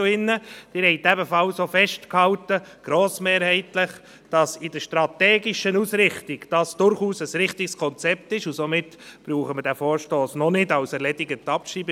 Sie haben auch grossmehrheitlich festgehalten, dass dies in der strategischen Ausrichtung durchaus ein richtiges Konzept ist, und somit brauchen wir diesen Vorstoss noch nicht als erledigt abzuschreiben.